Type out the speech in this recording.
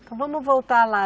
Então vamos voltar lá.